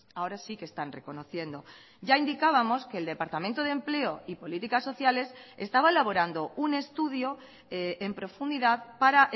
ahora sí que están reconociendo ya indicábamos que el departamento de empleo y políticas sociales estaba elaborando un estudio en profundidad para